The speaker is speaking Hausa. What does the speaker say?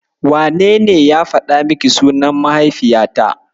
Wanene ya faɗa miki sunan mahaifiyata?